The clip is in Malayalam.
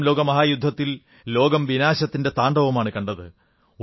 ഒന്നാം ലോകമഹായുദ്ധത്തിൽ ലോകം വിനാശത്തിന്റെ താണ്ഡവമാണു കണ്ടത്